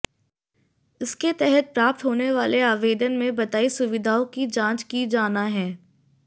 इसके तहत प्राप्त होने वाले आवेदन में बताई सुविधाओं की जांच की जाना है